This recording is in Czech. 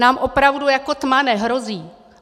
Nám opravdu jako tma nehrozí.